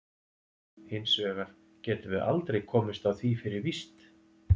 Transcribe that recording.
Hins vegar getum við aldrei komist að því fyrir víst.